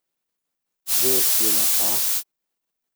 Ženstvena pa ...